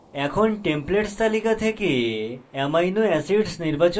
এখন templates তালিকা থেকে amino acids নির্বাচন করে